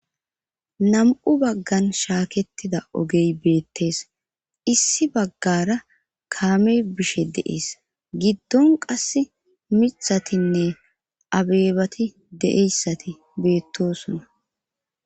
nam7u baggan shaaketida ogey beettees issi baggara kaame bishe deees giddon qass mithatinne abeebati deeyssati beettosuna